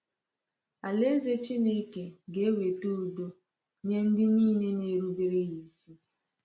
Alaeze Chineke ga-eweta udo nye ndị niile na-erubere ya isi.